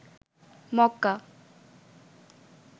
মককা